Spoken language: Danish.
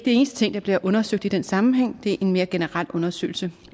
eneste ting der bliver undersøgt i den sammenhæng det er en mere generel undersøgelse